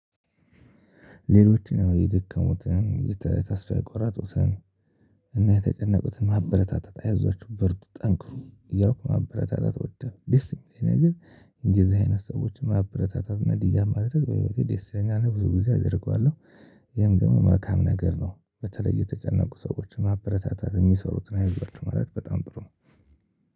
ሌሎች ነው የደከሙትን የተስፋ የቆራጡትን እና የተጨነቁትን ማበረታታት አያዟቸው በሩት ጠንክሩ እያልኩ ማበረታታት እወዳለሁ ደስ የሚለኝ ነገር እንደዚህ አይነት ሰዎችን ማበረታታት እና ድጋፍ ማድረግ በህይወቴ ደስ ይለኛልና ብዙ ጊዜ አደርገዋለሁ። ይሄም ደግሞ መልካም ነገር ነው በተለይ የተጨነቁ ሰዎችን ማበረታታት የሚሰሩትን አይዧችሁ ማለት በጣም ጥሩ ነው